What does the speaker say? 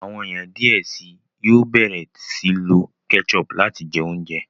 àwọn ènìyàn diẹ síi yóò bẹrẹ sii lo ketchup láti jẹ oúnjẹ.